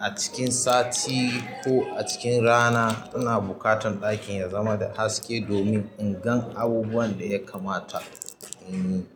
a cikin sati ko a cikin rana ina buƙatan ɗakin ya zama da haske domin in gan abubuwan da ya kamata in yi.